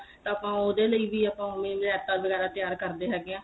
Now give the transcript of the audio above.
ਤਾਂ ਆਪਾਂ ਉਹਦੇ ਲਈ ਵੀ ਆਪਾਂ ਉਵੇਂ ਰਾਇਤਾ ਵਗੈਰਾ ਤਿਆਰ ਕਰਦੇ ਹੈਗੇ ਆ